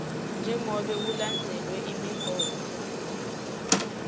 njengobe kulandzelwe imigomo